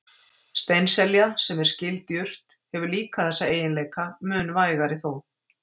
Steinselja, sem er skyld jurt, hefur líka þessa eiginleika, mun vægari þó.